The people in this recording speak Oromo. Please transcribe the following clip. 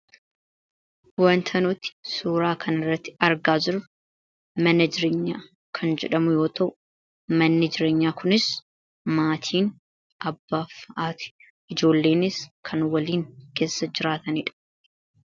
wanta nuti suuraa kan irratti argaa jirru manna jireenyaa kan jedhamu yoo ta'u manni jireenyaa kunis maatiin abbaa fi haati ijoolleenis kan waliin keessa jiraataniidha